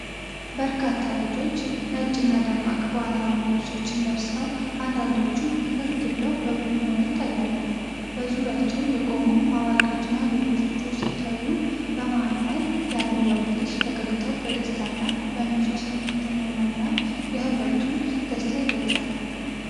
በርካታ ልጆች ነጭና ደማቅ ባህላዊ ልብሶችን ለብሰው፣ አንዳንዶቹ ፈገግ ብለው በቡድን ሆነው ይታያሉ። በዙሪያቸው የቆሙ አዋቂዎችና ሌሎች ልጆች ሲታዩ፣ በመሃል ላይ ያለው ወንድ ልጅ ፈገግታው በደስታና በንፁህ ስሜት የተሞላ እና፣ የህብረቱን ደስታ ይገልጻል።